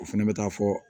O fɛnɛ bɛ taa fɔ